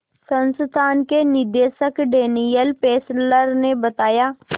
संस्थान के निदेशक डैनियल फेस्लर ने बताया